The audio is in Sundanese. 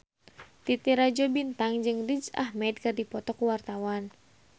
Titi Rajo Bintang jeung Riz Ahmed keur dipoto ku wartawan